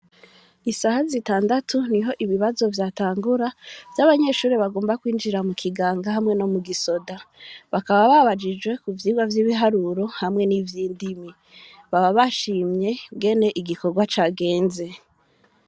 Isaha zitandatu niho ibibazo vyatangura, vy'abanyeshure bagomba kwinjira mu kiganga hamwe no mu gisoda; bakaba babajijwe ku vyigwa vy'ibiharuro hamwe n'ivy'indimi, baba bashimye ingene igikorwa cagenze.